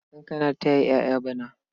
Kankana ta yi ƴaƴa bana.